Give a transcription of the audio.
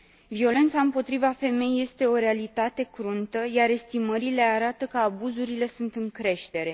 Violența împotriva femeii este o realitate cruntă, iar estimările arată că abuzurile sunt în creștere.